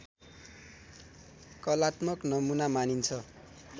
कलात्मक नमुना मानिन्छ